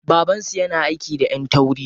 Baban su yana aiki da ƴan tauri.